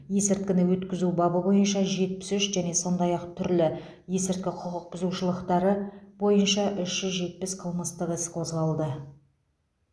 есірткіні өткізу бабы бойынша жетпіс үш және сондай ақ түрлі есірткі құқық бұзушылықтары бойынша үш жүз жетпіс қылмыстық іс қозғалды